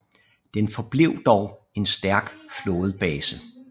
Den forblev dog en stærk flådebase